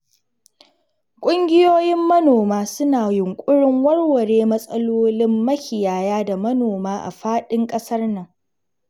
Ƙungiyoyin manoma suna yunƙurin warware matsalolin makiyaya da manoma a faɗin ƙasar nan.